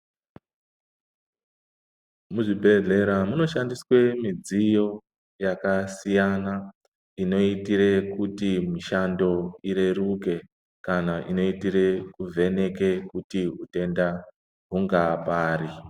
Muzvibhehlera munoshandiswe mudziyo yakasiyana inoitire kuti mushando ureruke kana inoitire kuvheneka kuti hutenda hungapari .